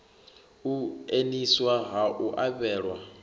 u eaniswa ha u avhelwa